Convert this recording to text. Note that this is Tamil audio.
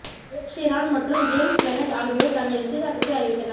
எட் ஷிரான் மற்றும் ஜேம்ஸ் பிளண்ட் ஆகியோர் தங்கள் நிச்சயதார்த்தத்தை அறிவித்தனர்